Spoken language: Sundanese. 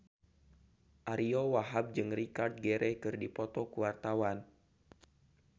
Ariyo Wahab jeung Richard Gere keur dipoto ku wartawan